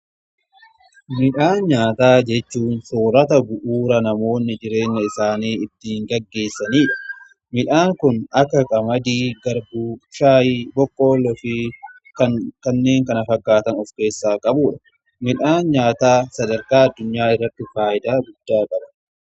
Midhaan nyaataa jechuu soorata bu'uura namoonni jireenna isaanii ittiin gaggeessaniidha. Midhaan kun akka qamadii, garbu, shaayi boqqoolloo fi kanneen kana fakkaatan of keessaa qabudha. Midhaan nyaataa sadarkaa addunyaa irratti faayidaa guddaa qaba.